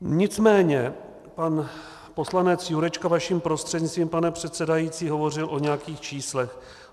Nicméně pan poslanec Jurečka vaším prostřednictvím, pane předsedající, hovořil o nějakých číslech.